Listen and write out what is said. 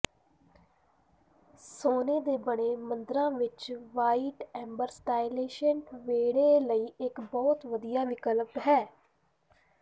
ਸੋਨੇ ਦੇ ਬਣੇ ਮੁੰਦਰਾਂ ਵਿੱਚ ਵ੍ਹਾਈਟ ਐਂਬਰ ਸਟਾਈਲਿਸ਼ਡ ਵੇਹੜੇ ਲਈ ਇੱਕ ਬਹੁਤ ਵਧੀਆ ਵਿਕਲਪ ਹੈ